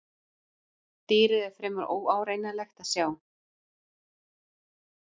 Dýrið er fremur óárennilegt að sjá.